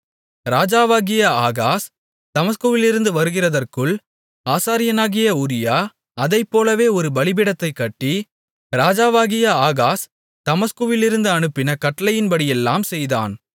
ராஜாவாகிய ஆகாஸ் தமஸ்குவிலிருந்து வருகிறதற்குள் ஆசாரியனாகிய உரியா அதைப்போலவே ஒரு பலிபீடத்தைக் கட்டி ராஜாவாகிய ஆகாஸ் தமஸ்குவிலிருந்து அனுப்பின கட்டளையின்படியெல்லாம் செய்தான்